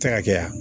Tɛ ka kɛ ya